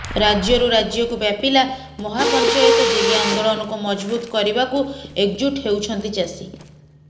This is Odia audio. ରାଜ୍ୟରୁ ରାଜ୍ୟକୁ ବ୍ୟାପିଲା ମହାପଞ୍ଚାୟତ ଦିଲ୍ଲୀ ଆନ୍ଦୋଳନକୁ ମଜଭୁତ କରିବାକୁ ଏକଜୁଟ ହେଉଛନ୍ତି ଚାଷୀ